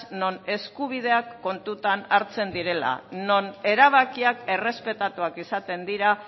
non eskubideak kontutan hartzen direla non erabakiak errespetatuak izaten dira